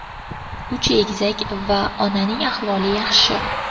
Uch egizak va onaning ahvoli yaxshi.